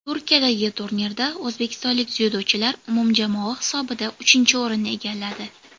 Turkiyadagi turnirda o‘zbekistonlik dzyudochilar umumjamoa hisobida uchinchi o‘rinni egalladi.